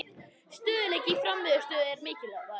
Stöðugleiki í frammistöðu er mikilvægur